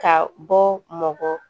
Ka bɔ mɔgɔ